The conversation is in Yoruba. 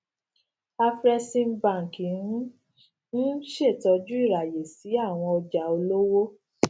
afreximbank n n ṣetọju iraye si awọn ọja olowo